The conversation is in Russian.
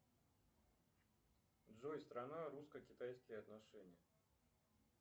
джой страна русско китайские отношения